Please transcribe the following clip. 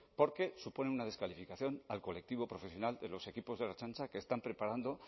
porque supone una desclasificación al colectivo profesional de los equipos de la ertzaintza que están preparando